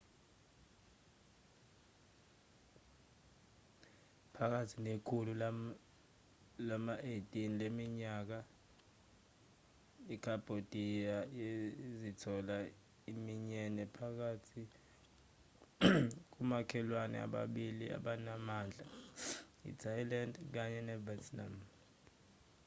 phakathi nekhulu lama-18 leminyaka ikhambhodiya yazithola iminyene phakathi komakhelwne ababili abanamandla i-thailand kanye nevietnam